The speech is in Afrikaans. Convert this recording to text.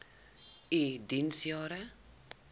u diens jare